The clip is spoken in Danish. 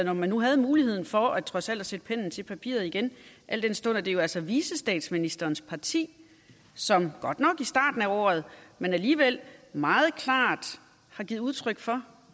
når man nu havde muligheden for trods alt at sætte pennen til papiret igen al den stund at det jo altså er vicestatsministerens parti som godt nok i starten af året men alligevel meget klart har givet udtryk for